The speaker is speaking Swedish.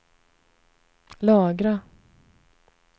lagra